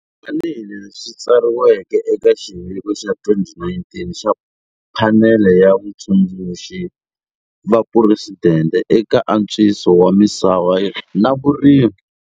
Tanihi leswi swi tsariweke eka xiviko xa 2019 xa Phanele ya Vatsundzuxi va Phuresidente eka Antswiso wa Misava na Vurimi.